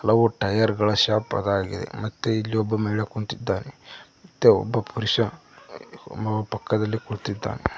ಹಲವು ಟೈಯರ್ ಗಳ ಶಾಪ್ ಅದಾಗಿದೆ ಮತ್ತೆ ಇಲ್ಲಿ ಒಬ್ಬ ಮಹಿಳೆ ಕುಂತ್ತಿದ್ದಾನೆ ಮತ್ತೆ ಒಬ್ಬ ಪುರುಷ ಪಕ್ಕದಲ್ಲಿ ಕುಳಿತ್ತಿದ್ದಾನೆ.